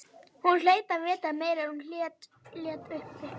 Hún hlaut að vita meira en hún lét uppi.